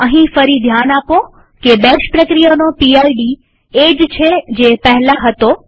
અહીં ફરી ધ્યાન આપો કે બેશ પ્રક્રિયાનો પીડ એ જ છે જે પહેલા હતો